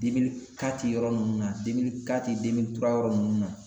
Dimi demili kati yɔrɔ nunnu na demili kati demili tura yɔrɔ nunnu na